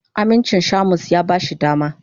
Amincin Shamus ya ba shi dama.